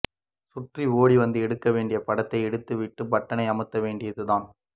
சுற்றி ஓடிவந்து எடுக்க வேண்டிய படத்தை எடுத்துவிட்டு பட்டனை அமத்த வேண்டியதுதான்